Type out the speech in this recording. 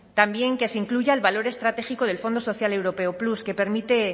también que se incluya el valor estratégico del fondo social europeo plus que permite